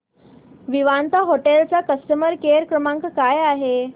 Vivanta hotel चा customer care क्रमांक काय आहे